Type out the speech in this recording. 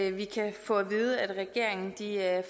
at vi kan få at vide at regeringen